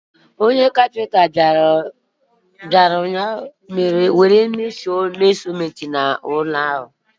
Onye ọkwá nkà bịara ụnyahụ ka o were tụọ ọnụ ụlọ ahụ